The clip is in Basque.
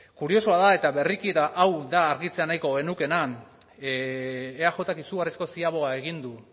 kuriosoa da eta berriki eta hau da argitzea nahiko genukeena eajk izugarrizko ziaboga egin du